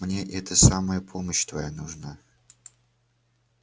мне это самое помощь твоя нужна